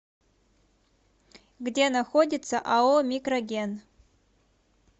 где находится ао микроген